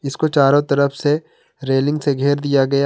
इसको चारों तरफ से रेलिंग से घेर दिया गया--